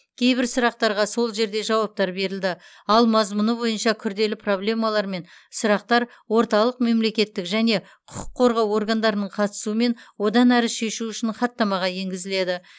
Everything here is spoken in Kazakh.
кейбір сұрақтарға сол жерде жауаптар берілді ал мазмұны бойынша күрделі проблемалар мен сұрақтар орталық мемлекеттік және құқық қорғау органдарының қатысуымен одан әрі шешу үшін хаттамаға енгізіледі